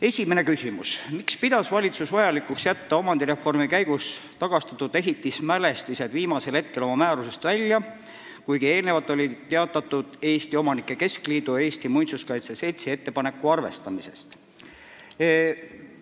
Esimene küsimus: "Miks pidas valitsus vajalikuks jätta omandireformi käigus tagastatud ehitismälestised viimasel hetkel oma määrusest välja, kuigi eelnevalt oli teatatud EOK ja Eesti Muinsuskaitse Seltsi ettepaneku arvestamisest?